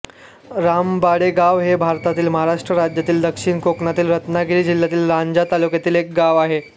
रामबाडेगाव हे भारतातील महाराष्ट्र राज्यातील दक्षिण कोकणातील रत्नागिरी जिल्ह्यातील लांजा तालुक्यातील एक गाव आहे